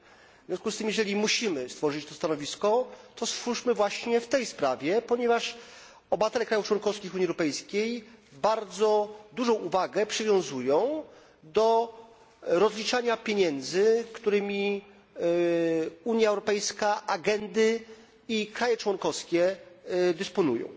W związku z tym, jeżeli musimy stworzyć to stanowisko, to stwórzmy je w tej sprawie, ponieważ obywatele państw członkowskich Unii Europejskiej bardzo dużą uwagę przywiązują do rozliczania pieniędzy, którymi Unia Europejska, agendy i państwa członkowskie dysponują.